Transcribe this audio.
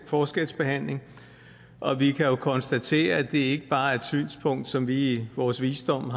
forskelsbehandling og vi kan jo konstatere at det ikke bare er et synspunkt som vi i vores visdom